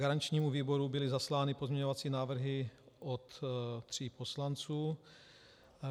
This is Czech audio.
Garančnímu výboru byly zaslány pozměňovací návrhy od tří poslanců.